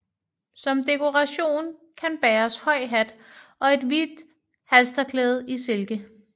Som dekoration kan bæres høj hat og et hvidt halstørklæde i silke